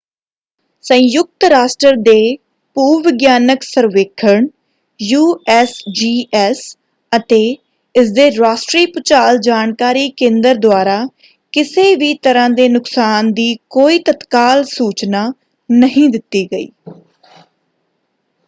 ਸੰਯੁਕਤ ਰਾਸ਼ਟਰ ਦੇ ਭੂ-ਵਿਗਿਆਨਕ ਸਰਵੇਖਣ ਯੂਐਸਜੀਐਸ ਅਤੇ ਇਸਦੇ ਰਾਸ਼ਟਰੀ ਭੂਚਾਲ ਜਾਣਕਾਰੀ ਕੇਂਦਰ ਦੁਆਰਾ ਕਿਸੇ ਵੀ ਤਰ੍ਹਾਂ ਦੇ ਨੁਕਸਾਨ ਦੀ ਕੋਈ ਤਤਕਾਲ ਸੂਚਨਾ ਨਹੀਂ ਦਿੱਤੀ ਗਈ।